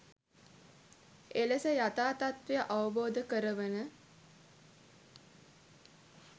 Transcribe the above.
එලෙස යථා තත්ත්වය අවබෝධ කරවන